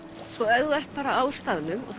ef þú ert á staðnum og